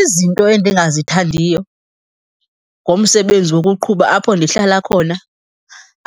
Izinto endingazithandiyo ngomsebenzi wokuqhuba apho ndihlala khona,